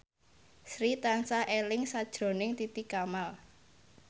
Sri tansah eling sakjroning Titi Kamal